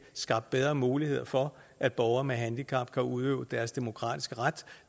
skabt bedre muligheder for at borgere med handicap kan udøve deres demokratiske ret